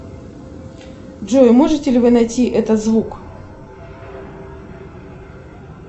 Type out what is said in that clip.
джой можете ли вы найти этот звук